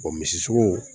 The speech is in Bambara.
O misi sugu